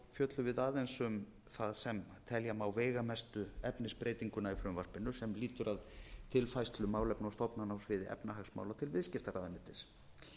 fjöllum við aðeins um það sem telja má veigamestu efnisbreytinguna í frumvarpinu sem lýtur að tilfærslu málefna og stofnana á sviði efnahagsmála til viðskiptaráðuneytis